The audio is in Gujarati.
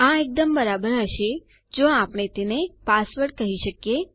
આ એકદમ બરાબર હશે જો આપણે તેને પાસવર્ડ કહી શકીએ